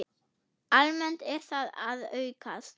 Almennt er þetta að aukast.